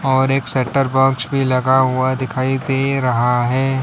और एक set up box भी लगा हुआ दिखाई दे रहा है।